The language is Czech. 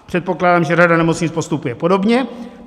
Předpokládám, že řada nemocnic postupuje podobně.